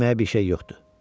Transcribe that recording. Yeməyə bir şey yoxdu.